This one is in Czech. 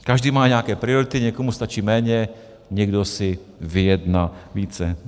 Každý má nějaké priority, někomu stačí méně, někdo si vyjedná více.